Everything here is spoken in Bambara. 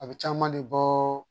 A bɛ caman de bɔɔ